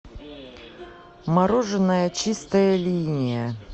мороженое чистая линия